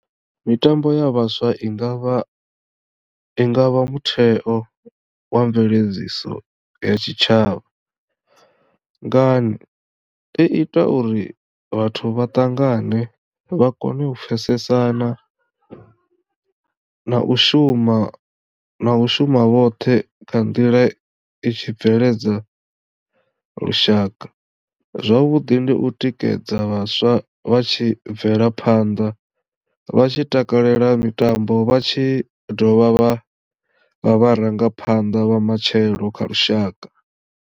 Mitambo ya vhaswa ingavha i ngavha mutheo wa mveledziso ya tshitshavha, ngani? I ita uri vhathu vha ṱangane vha kone u pfhesesana na u shuma na u shuma vhoṱhe kha nḓila i tshi bveledza lushaka zwavhuḓi ndi u tikedza vhaswa vha tshi bvela phanḓa vha tshi takalela mitambo vha tshi dovha vha vha vharangaphanḓa vha matshelo kha lushaka.